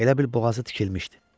Elə bil boğazı tikilmişdi.